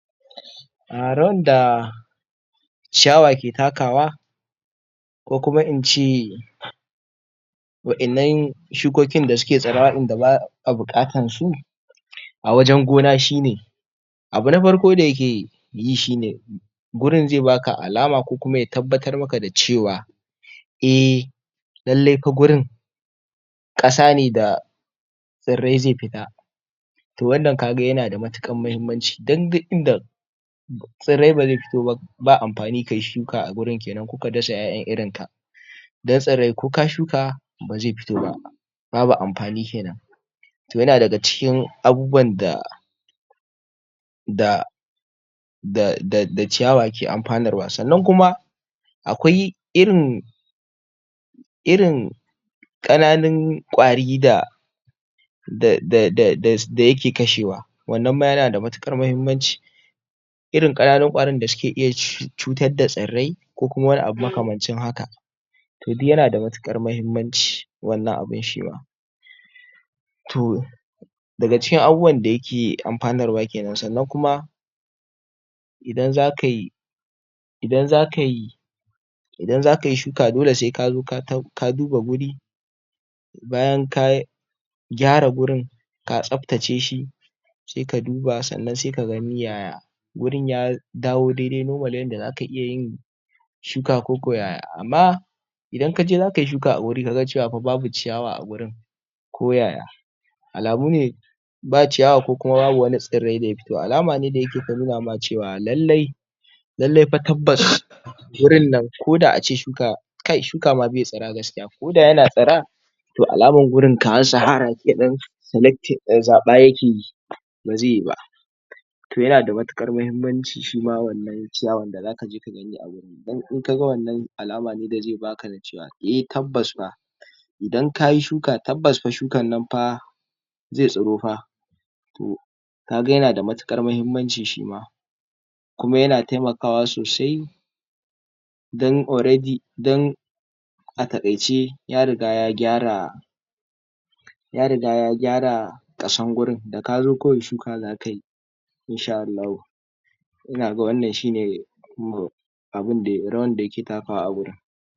ciyawa ke takawa ko kuma ince wa innan shukokin da suke tsirra wa inda ba a buƙatan su a wajan gona shine abun na farko da yakeyi shine gurin zai baka alama ko kuma ya tabbatar maka da cewa a lallai fa gurin ƙasane da tsirrai zai fita to wannan kaga yana da matukar mahimmanci dan duk inda tsirrai bazai fito ba amfani kayi shuka a gurin kenan ko ka dasa ƴa'ƴan irinka dan tsirrai ko ka shuka bazai fito ba babu amfani kenan to yana daga cikin abubuwan da da ciyawa ke amfanarwa sannan kuma aƙwai irin irin ƙananun ƙwari da da yake kashewa wannan ma yana da matuƙar mahimmanci irin ƙananun ƙwarin da suke iya cutar da tsirrai ko kuma wani abu makamancin haka to duk yana da matuƙar mahimmanci wannan abun shima to daga cikin abubuwan da yake amfanar wa kenan sannan kuma idan zakai idan zakayi shuka sai kazo ka duba gurin bayan ka gyara gurin ka tsaftace shi sai ka duba sannan sai ka gani yaya gurin ya dawo daidai normal yanda zaka iya yin shuka koko yaya amma idan kaje zakayi shuka a wurin kagacewa fa babu ciyawa a wuri ko yaya alamune ba ciyawa ko kuma ba wani tsirrai da ya fito alama ne da yake ta nuna ma cewa lallai lallai fa tabbas gurin nan ko da ace shukai kai shuka ma be tsira gaskiya ko da yana tsira to alamar gurin kamar sihara zaɓa yakeyi ba zai ba to yana da matuƙar mahimmanci shima wannan ciyawar da zaka je ka gani wurin dan in kaga wannan alamane da zai baka da cewa a tabbas fa idan kayi shuka tabbas fa shukannan fa zai tsiro fa to kaga yana da matuƙar mahimmanci shima kuma yana taimakawa sosai dan already a takaice ya riga ya gyara ya riga ya gyara ƙarshan gurin da kazo kawai shuka zakayi insha Allahu ina ga wannan shine abunda rawan da yake takawa a wurin.